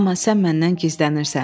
Amma sən məndən gizlənirsən.